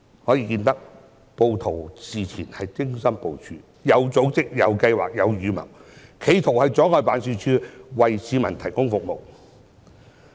可見暴徒事前精心部署，有組織、有計劃、有預謀，企圖阻礙辦事處為市民提供服務。